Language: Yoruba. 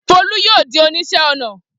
Folú yóò di oníṣẹ́ ọnà!